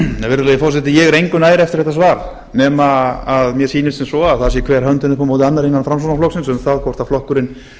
virðulegi forseti ég er engu nær eftir þetta svar nema að mér sýnist sem svo að það sé hver höndin upp á móti annarri innan framsóknarflokksins um